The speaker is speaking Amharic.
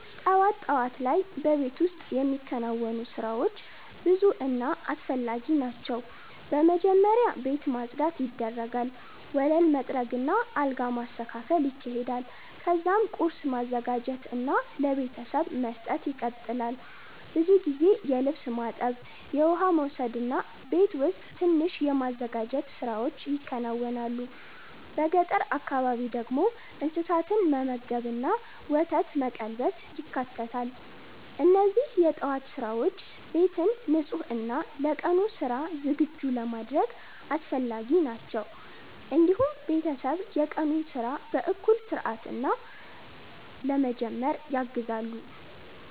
ጠዋት ጠዋት ላይ በቤት ውስጥ የሚከናወኑ ስራዎች ብዙ እና አስፈላጊ ናቸው። በመጀመሪያ ቤት ማጽዳት ይደረጋል፣ ወለል መጥረግ እና አልጋ መስተካከል ይካሄዳል። ከዚያም ቁርስ ማዘጋጀት እና ለቤተሰብ መስጠት ይቀጥላል። ብዙ ጊዜ የልብስ ማጠብ፣ የውሃ መውሰድ እና ቤት ውስጥ ትንሽ የማዘጋጀት ስራዎች ይከናወናሉ። በገጠር አካባቢ ደግሞ እንስሳትን መመገብ እና ወተት መቀልበስ ይካተታል። እነዚህ የጠዋት ስራዎች ቤትን ንጹህ እና ለቀኑ ስራ ዝግጁ ለማድረግ አስፈላጊ ናቸው። እንዲሁም ቤተሰብ የቀኑን ስራ በእኩል እና በስርዓት ለመጀመር ያግዛሉ።